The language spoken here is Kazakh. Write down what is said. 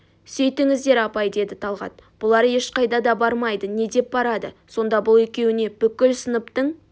сөйтіңіздер апай деді талғат бұлар ешқайда да бармайды не деп барады соңда бұл екеуіне бүкіл сыныптың